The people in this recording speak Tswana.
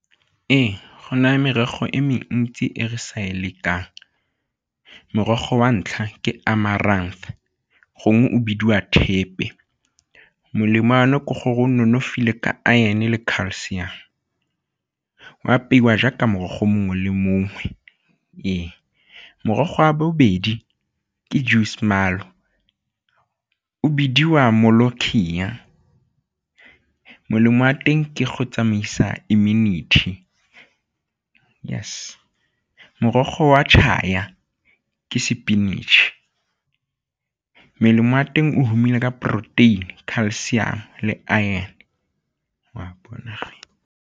Ee, go naya merogo e mentsi e re sa e lekang, morogo wa ntlha ke Amaranth gongwe o bidiwa thepe molemo wa one ke gore o nonofile ka iron le calcium, o apeiwa jaaka morogo mongwe le mongwe, ee. Morogo a bobedi ke o o bidiwa molemo wa teng ke go tsamaisa community, yes. Morogo wa ke sepinatšhe, melemo wa teng o humile ka protein-e, calcium, le iron .